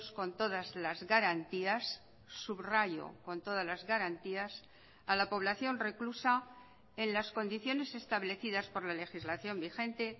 con todas las garantías subrayo con todas las garantías a la población reclusa en las condiciones establecidas por la legislación vigente